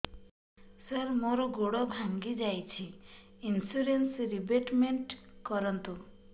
ସାର ମୋର ଗୋଡ ଭାଙ୍ଗି ଯାଇଛି ଇନ୍ସୁରେନ୍ସ ରିବେଟମେଣ୍ଟ କରୁନ୍ତୁ